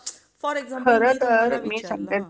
for example समजा मी तुम्हाला विचारलं खरं तर मी सांगते तुला